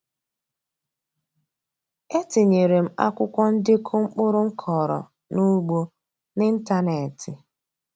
E tinyeere m akwụkwọ ndekọ mkpụrụ m kọrọ n’ugbo n’ịntaneetị.